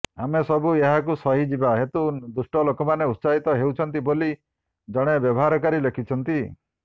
ଆମେ ସବୁ ଏହାକୁ ସହିଯିବା ହେତୁ ଦୁଷ୍ଟ ଲୋକମାନେ ଉତ୍ସାହିତ ହେଉଛନ୍ତି ବୋଲି ଜଣେ ବ୍ୟବହାରକାରୀ ଲେଖିଛନ୍ତି